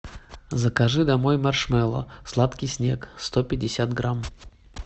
закажи домой маршмеллоу сладкий снег сто пятьдесят грамм